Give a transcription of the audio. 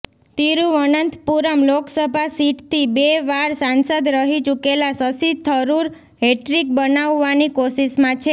તિરૂવનંતપુરમ લોકસભા સીટથી બે વાર સાંસદ રહી ચૂકેલા શશી થરૂર હેટ્રિક બનાવવાની કોશિશમાં છે